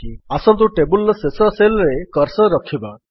ଆସନ୍ତୁ ଟେବଲ୍ ର ଶେଷ Cellରେ କର୍ସର୍ ରଖିବା